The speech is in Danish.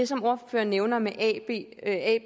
som ordføreren nævner med et a